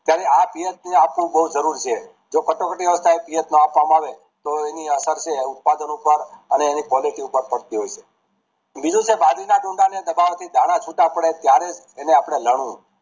ત્યારે આ પીએસપી આપવું બોવ જરૂર છે જો કટોકટી માં પીએસ ના આપવા માં આવે તો એની અસર ઉત્પાદન ઉપર અને એની quality ઉપર થતી હોય છે બીજી છે બાજરી ના ડૂંડા ને દબાવાથી દાન છુટા પડે ત્યારે એને આપડે લણવું